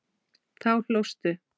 Þá hlóstu.